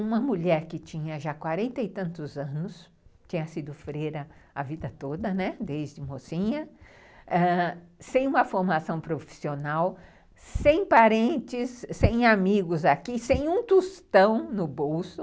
Uma mulher que tinha já quarenta e tantos anos, tinha sido freira a vida toda, né, desde mocinha, ãh, sem uma formação profissional, sem parentes, sem amigos aqui, sem um tostão no bolso,